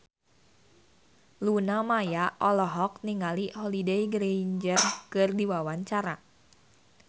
Luna Maya olohok ningali Holliday Grainger keur diwawancara